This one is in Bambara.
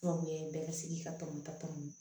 Gawukɛ bɛɛ ka se k'i ka tɔmɔtɔ